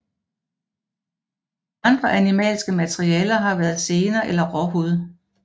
Andre animalske materialer har været sener eller råhud